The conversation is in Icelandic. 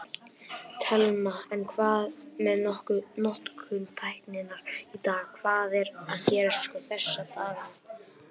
Telma: En hvað með notkun tækninnar í dag, hvað er að gerast sko þessa dagana?